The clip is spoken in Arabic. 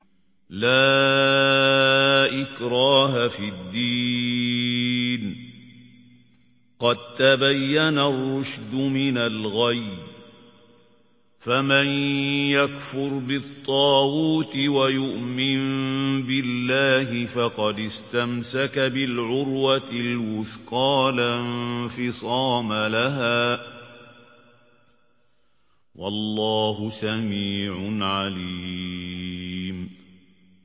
لَا إِكْرَاهَ فِي الدِّينِ ۖ قَد تَّبَيَّنَ الرُّشْدُ مِنَ الْغَيِّ ۚ فَمَن يَكْفُرْ بِالطَّاغُوتِ وَيُؤْمِن بِاللَّهِ فَقَدِ اسْتَمْسَكَ بِالْعُرْوَةِ الْوُثْقَىٰ لَا انفِصَامَ لَهَا ۗ وَاللَّهُ سَمِيعٌ عَلِيمٌ